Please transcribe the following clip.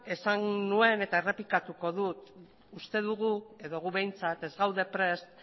esan nuen eta errepikatuko dut uste dugu edo gu behintzat ez gaude prest